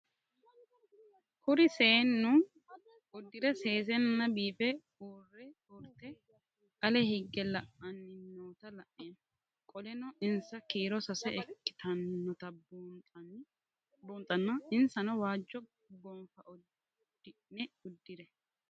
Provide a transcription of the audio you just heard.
Kuri seenu udire sesena biife urite ale hige la'ani noota la'nemo qoleno insa kiiro sase ikinotana bunxana insano waajo qofe udune udire